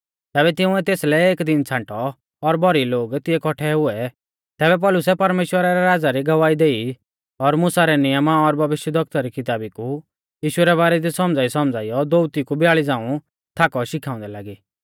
तैबै तिंउऐ तेसलै एक दिन छ़ांटौ और भौरी लोग तिऐ कौट्ठै हुऐ तैबै पौलुसै परमेश्‍वरा रै राज़ा री गवाही देई और मुसा रै नियमा और भविष्यवक्ता री किताबी कु यीशु रै बारै दी सौमझ़ाईसौमझ़ाइयौ दोअती कु ब्याल़ी झ़ांऊ थाकौ शिखाउंदै लागी